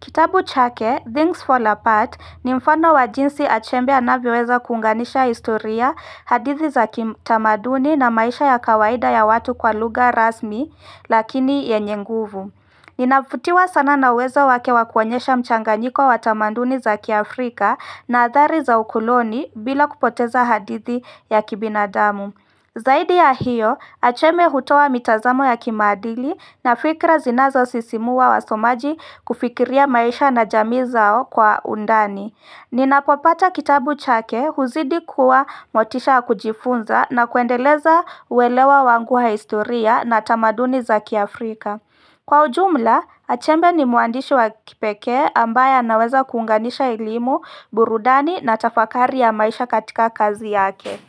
Kitabu chake, Things Fall Apart, ni mfano wa jinsi achembe anavyoweza kuunganisha historia, hadithi za tamaduni na maisha ya kawaida ya watu kwa luga rasmi, lakini yenye nguvu. Ninafutiwa sana na uwezo wake wakuonyesha mchanganyiko wa tamaduni za kiAfrika na adhari za ukoloni bila kupoteza hadithi ya kibinadamu. Zaidi ya hiyo, acheme hutoa mitazamo ya kimaadili na fikra zinazo sisimua wa somaji kufikiria maisha na jamii zao kwa undani. Ninapopata kitabu chake huzidi kuwa motisha kujifunza na kuendeleza uelewa wangu wa historia na tamaduni za kiafrika. Kwa ujumla, achembe ni mwandishi wa kipekee ambaye anaweza kuunganisha elimu, burudani na tafakari ya maisha katika kazi yake.